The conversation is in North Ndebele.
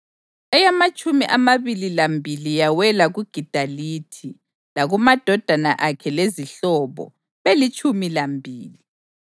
eyamatshumi amabili lambili yawela kuGidalithi, lakumadodana akhe lezihlobo, belitshumi lambili;